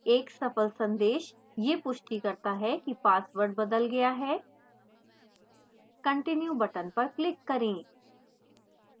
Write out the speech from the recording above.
एक सफल संदेश यह पुष्टि करता है कि password बदल गया है continue button पर click करें